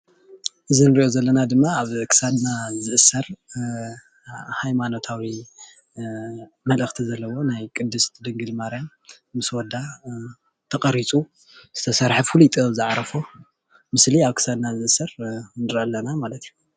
እዚ እንሪኦ ዘለና ድማ ኣብ ክሳድና ዝእሰር ሃይማኖታዊ መልእክቲ ዘለዎ ናይ ቅድስቲ ድንግል ማርያም ምስ ወዳ ተቀሪፁ ዝተሰርሐ ፍሉይ ጥበብ ዝዓረፎ ምስሊ ኣብ ክሳድና ዝእሰር ንርኢ ኣለና ማለት እዩ፡፡